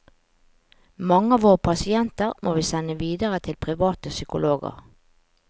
Mange av våre pasienter må vi sende videre til private psykologer.